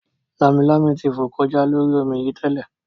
Lámilámi ti fò kọjá lórí omi yìí tẹ́lẹ̀